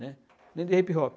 né? Nem de hip-hop.